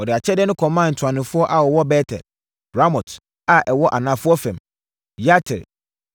Wɔde akyɛdeɛ no kɔmaa ntuanofoɔ a wɔwɔ Bet-El, Ramot a ɛwɔ anafoɔ fam, Yatir.